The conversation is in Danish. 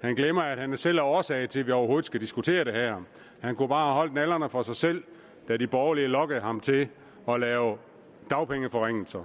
han glemmer at han selv er årsag til at vi overhovedet skal diskutere det her han kunne bare have holdt nallerne for sig selv da de borgerlige lokkede ham til at lave dagpengeforringelser